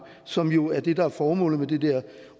som jo er det der er formålet med det der